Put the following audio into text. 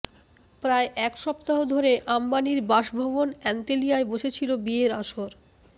প্রায় এক সপ্তাহ ধরে আম্বানির বাসভবন অ্যান্তেলিয়ায় বসেছিল বিয়ের আসর